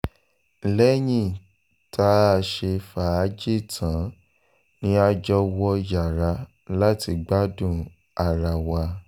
lẹ́yìn tá a ṣe fàájì tán ni a jọ wọ yàrá láti gbádùn ara wa